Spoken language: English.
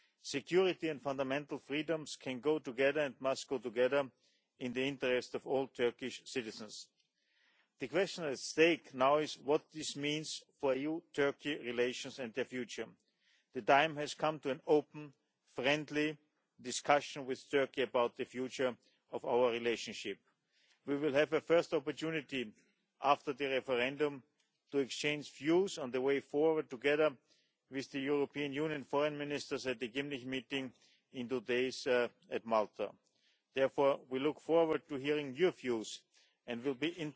Security and fundamental freedoms can go together and must go together, in the interest of all Turkish citizens. The question at stake now is what this means for EU Turkey relations and their future. The time has come for an open and friendly discussion with Turkey about the future of our relationship. We will have a first opportunity after the referendum to exchange views on the way forward together with the European Union Foreign Ministers at the Gymnich meeting in two days' time in Malta. We therefore look forward to hearing your views and